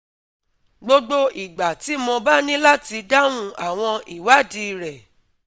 Gbogbo ìgbà tí mo bá ní láti dáhùn àwọn ìwádìí rẹ̀